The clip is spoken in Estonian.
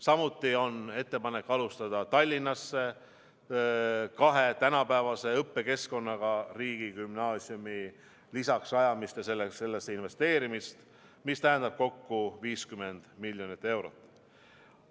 Samuti on ettepanek alustada Tallinnasse kahe tänapäevase õppekeskkonnaga riigigümnaasiumi lisaks rajamist ja sellesse investeerimist, mis tähendab kokku 50 miljonit eurot.